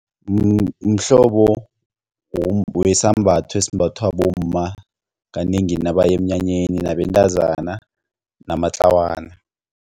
Mhlobo wesambatho esimbathwa bomma kanengi nabaya emnyanyeni nabentazana namatlawana.